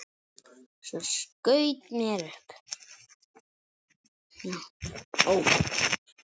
Svo skaut mér upp.